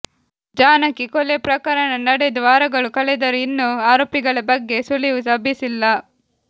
ಜಾನಕಿ ಕೊಲೆ ಪ್ರಕರಣ ನಡೆದು ವಾರಗಳು ಕಳೆದರೂ ಇನ್ನೂ ಆರೋಪಿಗಳ ಬಗ್ಗೆ ಸುಳಿವು ಲಭಿಸಿಲ್ಲ